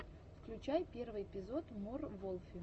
включай первый эпизод мор волфи